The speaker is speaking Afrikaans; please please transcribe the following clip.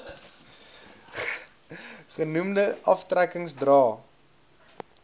genoemde aftrekkings dra